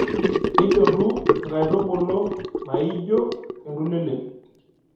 Nidotu nkaitubulu naaijio entulelei.